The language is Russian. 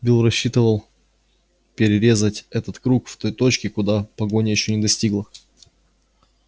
билл рассчитывал перерезать этот круг в той точке куда погоня ещё не достигла